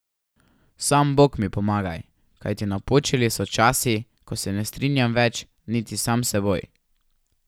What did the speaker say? Sam Bog mi pomagaj, kajti napočili so časi, ko se ne strinjam več niti sam s seboj.